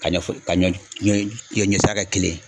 Ka ɲɛ fo ka ɲɔ d ɲɔ yo ɲɔ sira kɛ kelen